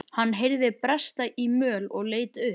Hann heyrði bresta í möl og leit upp.